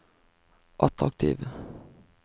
attraktive